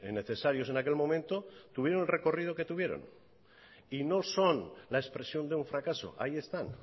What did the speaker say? necesarios en aquel momento tuvieron el recorrido que tuvieron y no son la expresión de un fracaso ahí están